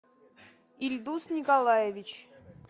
ильдус николаевич